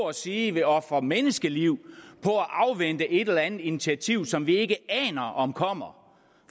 at sige vil ofre menneskeliv på at afvente et eller andet initiativ som vi ikke aner om kommer